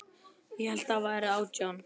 Ég hélt þér væruð átján.